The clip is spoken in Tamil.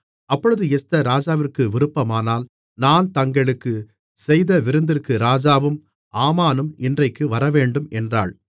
அப்பொழுது எஸ்தர் ராஜாவிற்கு விருப்பமானால் நான் தங்களுக்குச் செய்த விருந்திற்கு ராஜாவும் ஆமானும் இன்றைக்கு வரவேண்டும் என்றாள்